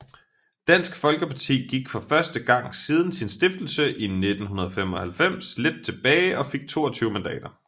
Dansk Folkeparti gik for første gang siden sin stiftelse i 1995 lidt tilbage og fik 22 mandater